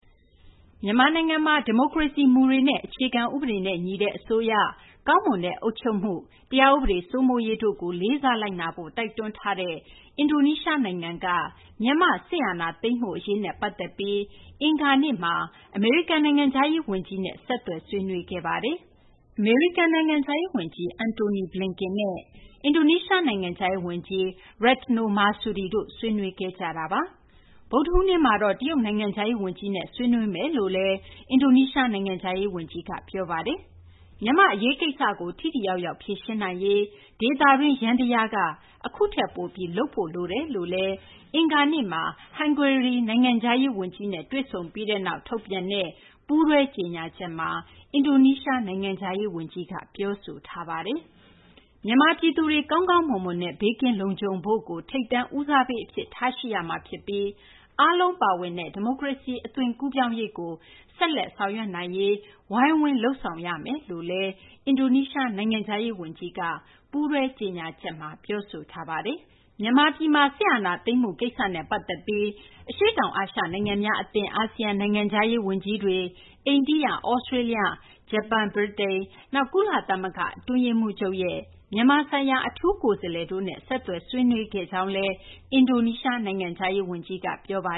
မြန်မာနိုင်ငံမှာ ဒီမိုကရေစီမူတွေနဲ့ အခြေခံ ဥပဒေနဲ့ ညီတဲ့ အစိုးရ၊ ကောင်းမွန်တဲ့ အုပ်ချုပ်မှု၊ တရားဥပဒေ စိုးမိုးရေးတို့ကို လေးစားလိုက်နာဖို့ တိုက်တွန်းထားတဲ့ အင်ဒိုနီးရှား နိုင်ငံက မြန်မာ့ စစ်အာဏာသိမ်းမှု အရေးနဲ့ ပတ်သက်ပြီး အင်္ဂါနေ့မှာ အမေရိကန် နိုင်ငံခြားရေး ဝန်ကြီး နဲ့ ဆက်သွယ် ဆွေးနွေးခဲ့ပါတယ်။ အမေရိကန် နိုင်ငံခြားရေး ဝန်ကြီး Antony J. Blinken နဲ့ အင်ဒိုနီးရှား နိုင်ငံခြားရေး ဝန်ကြီး Retno Marsudi တို့ ဆွေးနွေးကြတာပါ။ ဗုဒ္ဓဟူးနေ့မှာတော့ တရုတ်နိုင်ငံခြားရေး ဝန်ကြီးနဲ့လည်း ဆွေးနွေးမယ့် အကြောင်း အင်ဒိုနီးရှား နိုင်ငံခြားရေး ဝန်ကြီးက ပြောဆိုထားပါတယ်။ မြန်မာ့ အရေးကိစ္စကို ထိထိရောက်ရောက် ဖြေရှင်းနိုင်ရေးမှာ ဒေသတွင်း ယန္တရားက အခုထက် ပိုပြီး လုပ်ဆောင်နိုင်ဖို့ လိုတယ်လို့လည်း အင်္ဂါနေ့မှာ ဟန်ဂေရီ နိုင်ငံခြားရေး ဝန်ကြီးနဲ့ တွေ့ဆုံပြီးနောက် ထုတ်ပြန်တဲ့ ပူးတွဲကြေညာချက်မှာ အင်ဒိုနီးရှား နိုင်ငံခြားရေး ဝန်ကြီး ကပြောဆိုထားပါတယ်။ မြန်မာပြည်သူတွေ ကောင်းကောင်းမွန်မွန်နဲ့ ဘေးကင်းလုံခြုံဖို့ကို ထိပ်တန်း ဦးစားပေး အဖြစ် ထားရှိရမှာ ဖြစ်ပြီး အားလုံးပါဝင်တဲ့ ဒီမိုကရေစီ အသွင်ကူးပြောင်းရေးကို ဆက်ပြီး ဆောင်ရွက်နိုင်ရေး ဝိုင်းဝန်ဆောင်ရွက်ပေးရေး ဖြစ်တယ်လို့လည်း အင်ဒိုနီးရှား နိုင်ငံခြားရေး ဝန်ကြီးက ပူးတွဲ ကြေညာချက်မှာ ပြောဆိုထားပါတယ်။ မြန်မာ့ စစ်အာဏာသိမ်းမှု အရေးနဲ့ ပတ်သက်ပြီး အင်ဒိုနီးရှားဘက်က အရှေ့တောင် အာရှ နိုင်ငံများ အသင်း အာဆီယံ နိုင်ငံခြားရေး ဝန်ကြီးတွေ၊ အိန္ဒိယ၊ သြစတေးလျ၊ ဂျပန်၊ ဗြိတိန် နောက် ကုလသမဂ္ဂ အတွင်းရေးမှူးချုပ်ရဲ့ မြန်မာဆိုင်ရာ အထူးကိုယ်စားလှယ်တို့နဲ့ ဆက်သွယ် ဆွေးနွေးခဲ့ကြောင်းလည်း အင်ဒိုနီးရှား နိုင်ငံခြားရေး ဝန်ကြီးက ပြောပါ